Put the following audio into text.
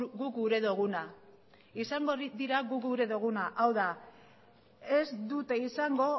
guk gura duguna izango dira guk gura duguna hau da ez dute izango